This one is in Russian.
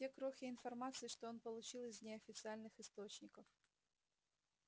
те крохи информации что он получил из неофициальных источников